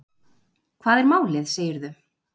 Hvað er málið, segirðu?